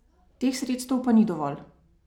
Teh sredstev pa ni dovolj.